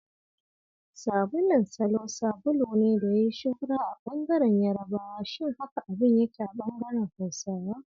Sabulun Salo sabulu ne da ya yi shuhura a bangaren yarabawa, Shin haka abin yake a bangaren Hausawa?